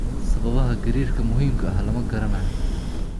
Sababaha gariirka muhiimka ah lama garanayo.